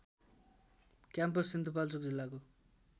campus Sindhupalchok जिल्लाको